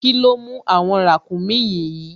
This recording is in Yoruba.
Kíló mú àwọn ràkúnmí yìí?